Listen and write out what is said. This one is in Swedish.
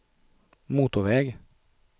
motorväg